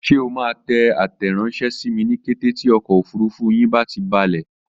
Ṣé o máa tẹ àtẹranṣẹ sími ní kété tí ọkọ̀ òfurufú yín bá ti balẹ̀?